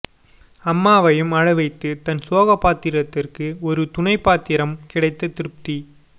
அம்மாவையும் அழ வைத்து தன் சோகப் பாத்திரத்திற்கு ஒரு துணைப்பாத்திரம் கிடைத்த திருப்தி